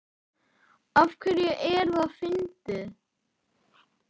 Af hverju er það fyndið?